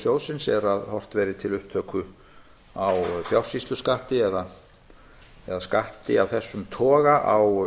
sjóðsins er að horft verði til upptöku á fjársýsluskatti eða skatti af þessum toga á